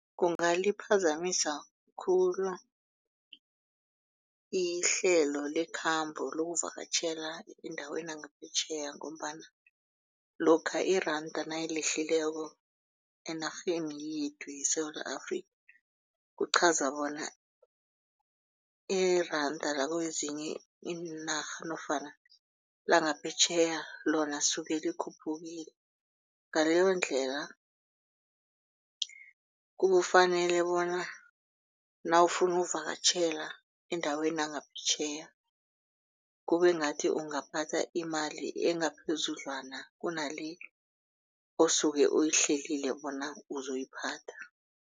Kungaliphazamisa khulu ihlelo lekhambo lokuvakatjhela endaweni yangaphetjheya ngombana lokha iranda nalehlileko enarheni yethu yeSewula Afrika. Kuchaza bona iranda lakwezinye iinarha nofana langaphetjheya lona lisuke likhuphukile. Ngaleyondlela kufanele bona nawufuna ukuvakatjhela endaweni yangaphetjheya kubengathi ungaphatha imali engaphezudlwana kunale osuke uyihleli bona uzoyiphatha.